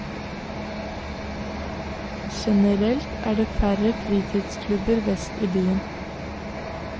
Generelt er det færre fritidsklubber vest i byen.